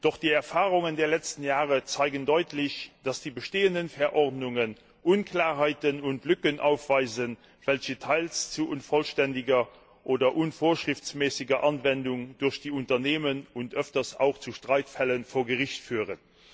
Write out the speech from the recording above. Doch die Erfahrungen der letzten Jahre zeigen deutlich, dass die bestehenden Verordnungen Unklarheiten und Lücken aufweisen, welche teils zu unvollständiger oder unvorschriftsmäßiger Anwendung durch die Unternehmen und öfters auch zu Streitfällen vor Gericht führen.